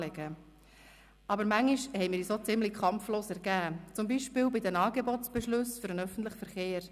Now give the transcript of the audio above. Manchmal haben wir uns aber ziemlich kampflos ergeben, zum Beispiel bei den Angebotsbeschlüssen für den öffentlichen Verkehr.